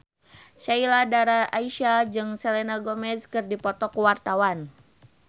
Sheila Dara Aisha jeung Selena Gomez keur dipoto ku wartawan